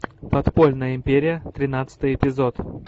подпольная империя тринадцатый эпизод